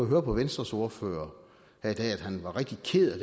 høre på venstres ordfører at han var rigtig ked af